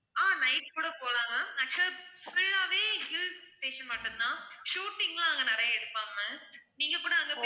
ஆஹ் night கூட போகலாம் ma'am actual ஆ full ஆவே hill station மட்டும் தான் shooting லாம் அங்க நிறைய எடுப்பாங்க ma'am நீங்க கூட அங்க